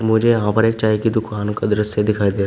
मुझे यहां पर एक चाय की दुकान का दृश्य दिखाई दे--